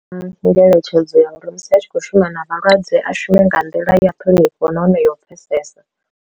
Ngeletshedzo ya uri musi a tshi khou shuma na vhalwadze a shume nga nḓila ya ṱhonifho nahone yo u pfhesesa.